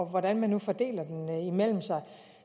hvordan man nu fordeler den imellem sig